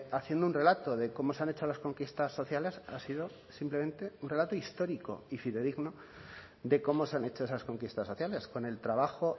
haciendo un relato de cómo se han hecho las conquistas sociales ha sido simplemente un relato histórico y fidedigno de cómo se han hecho esas conquistas sociales con el trabajo